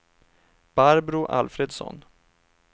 Barbro Alfredsson